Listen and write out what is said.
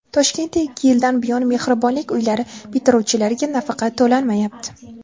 Toshkentda ikki yildan buyon Mehribonlik uylari bitiruvchilariga nafaqa to‘lanmayapti.